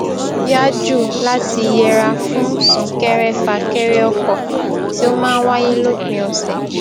yá jù láti yẹra fún súnkẹrẹfàkẹrẹ ọkọ tí ó máa n wáyé lópin ọsẹ